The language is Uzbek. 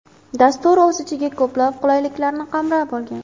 Dastur o‘z ichiga ko‘plab qulayliklarni qamrab olgan.